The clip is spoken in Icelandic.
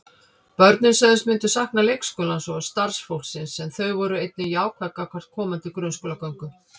Börnin sögðust myndu sakna leikskólans og starfsfólksins en þau voru einnig jákvæð gagnvart komandi grunnskólagöngu.